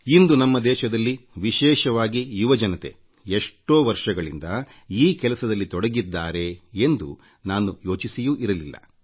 ಇಂದು ನಮ್ಮ ದೇಶದಲ್ಲಿ ವಿಶೇಷವಾಗಿ ಯುವಜನತೆಎಷ್ಟೋ ವರ್ಷಗಳಿಂದ ಈ ಕೆಲಸದಲ್ಲಿ ತೊಡಗಿದ್ದಾರೆ ಎಂದು ನಾನು ಯೋಚಿಸಿಯೂ ಇರಲಿಲ್ಲ